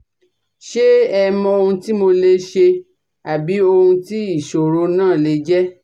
Ṣe ẹ mọ ohun tí mo lè ṣe àbí ohun tí ìṣòro náà lè jẹ́?